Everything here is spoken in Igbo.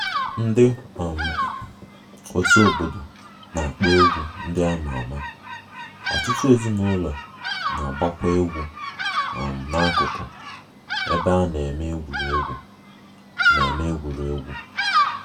Ndị um otu obodo na-akpọ egwu ndị a ma ama, ọtụtụ ezinụlọ na-agbakwa egwu um n'akụkụ um ebe a na-eme egwuregwu na-eme egwuregwu